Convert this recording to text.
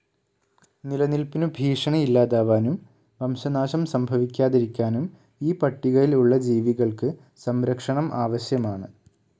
നിലനിൽപ്പിനു ഭീഷണി ഇല്ലാതാവാനും വംശനാശം സംഭവിക്കാതിരിക്കാനും ഈ പട്ടികയിൽ ഉള്ള ജീവികൾക്ക് സംരക്ഷണം ആവശ്യമാണ്.